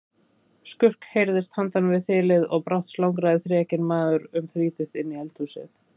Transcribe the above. Skurk heyrðist handan við þilið og brátt slangraði þrekinn maður um þrítugt inn í eldhúsið.